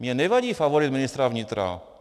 Mně nevadí favorit ministra vnitra.